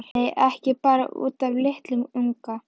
Nei, ekki bara út af litlum unga.